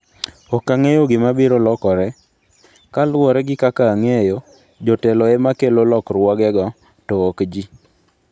Ok ang'eyo gima biro lokore... kaluwore gi kaka ang'eyo, jotelo ema kelo lokruogego, to ok ji.